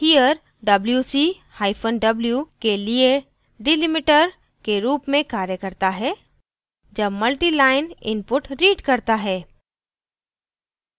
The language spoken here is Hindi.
here wc hyphen w के लिए delimiter के रूप में कार्य करता है जब multiline input रीढ करता है